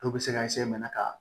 Dɔw bɛ se ka ka